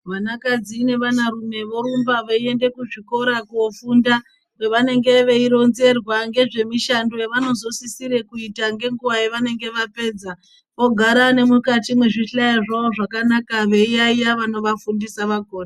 Vanakadzi nevana rume vorumba veiende kuzvikora kofunda kwavanenge veironzerwa ngezvemishando yavanozosisira kuita ngenguwa yavanenge vapedza vogara nemukati mwezvihlayo zvavo zvakanaka veiyayeya vanovafundisa vakona.